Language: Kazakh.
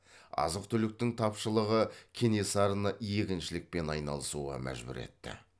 азық түліктің тапшылығы кенесарыны егіншілікпен айналысуға мәжбүр етті